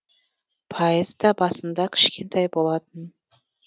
пайызы да басында кішкентай болатын